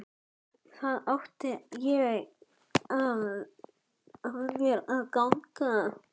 Það átti ekki af mér að ganga!